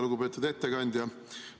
Lugupeetud ettekandja!